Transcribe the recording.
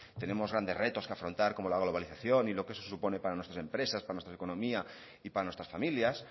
tenemos grandes retos que afrontar como la globalización y lo que eso supone para nuestras empresas para nuestra economía y para nuestras familias